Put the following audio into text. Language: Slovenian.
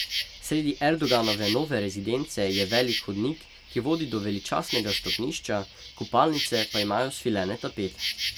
Sredi Erdoganove nove rezidence je velik hodnik, ki vodi do veličastnega stopnišča, kopalnice pa imajo svilene tapete.